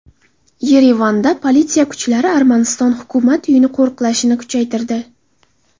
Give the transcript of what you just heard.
Yerevanda politsiya kuchlari Armaniston Hukumat uyini qo‘riqlashni kuchaytirdi.